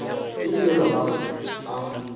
go le bjalo ga a